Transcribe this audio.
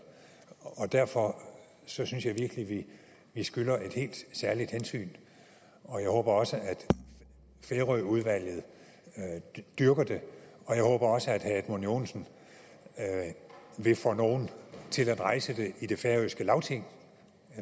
derfor synes jeg virkelig vi skylder et helt særligt hensyn og jeg håber også at færøudvalget dyrker det jeg håber også at herre edmund joensen vil få nogen til at rejse i det færøske lagting